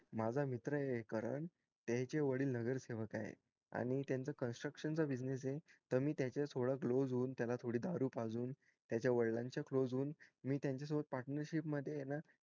माझा मित्र ये करणं त्याचे वडील येनगरसेवक आहेत आणि त्याचा construction चा business आहे त मी त्याच्या थोडं close होऊन त्याला थोडी दारू पाजून वडीलां च्या close होऊन मी त्याच्या सोबत partnership मध्ये ना